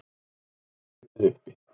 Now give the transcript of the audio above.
Eitt þeirra var hlaupið uppi